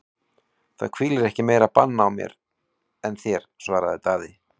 Það hvílir ekki meira bann á mér en þér, svaraði Daði.